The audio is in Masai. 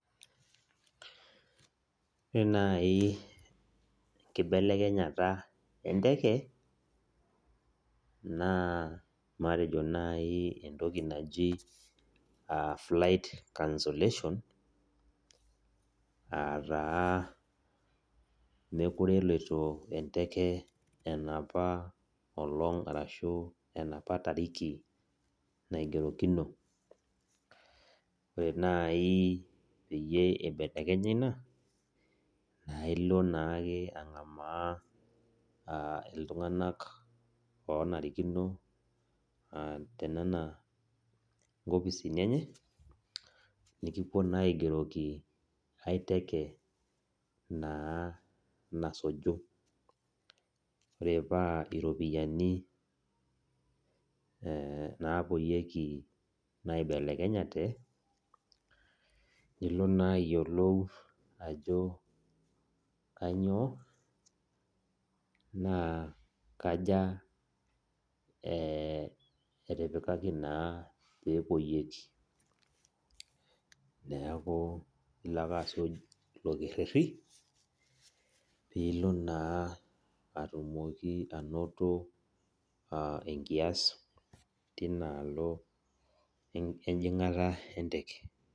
Ore nai enkibelekenyata enteke, naa matejo nai entoki naji flight cancellation, ataa mekure eloito enteke enapa olong' arashu enapa tariki naigerokino. Ore nai peyie ibelekenya ina, naa ilo naake ang'amaa iltung'anak onarikino tenena nkopisini enye, nikipuo naa aigeroki ai teke naa nasuju. Ore paa iropiyiani napuoyieki naibelekenyate, nilo naa ayiolou ajo kanyioo, naa kaja etipikaki naa pepuoyieki. Neeku ilo ake asuj ilo kerrerri, pilo naa atumoki anoto enkias tinaalo ejing'ata enteke.